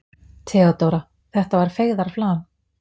THEODÓRA: Þetta var feigðarflan.